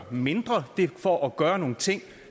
mindre det er for at gøre nogle ting